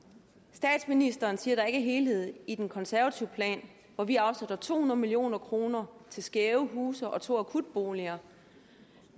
statsministeren siger er en helhed i den konservative plan hvor vi afsætter to hundrede million kroner til skæve huse og to akutboliger